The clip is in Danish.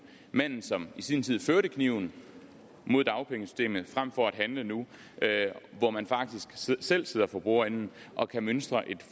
manden som i sin tid førte kniven mod dagpengesystemet frem for at handle nu hvor man faktisk selv sidder for bordenden og kan mønstre et